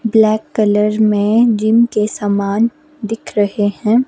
Black colour में gym के सामान दिख रहे हैं।